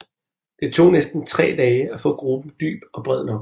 Det tog næsten tre dage at få gruben dyb og bred nok